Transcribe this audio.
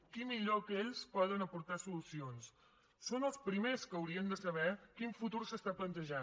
qui millor que ells poden aportar solucions són els primers que haurien de saber quin futur s’està plantejant